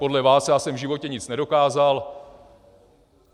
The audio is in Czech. Podle vás já jsem v životě nic nedokázal.